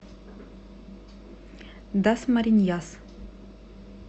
дасмариньяс